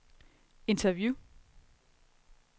interview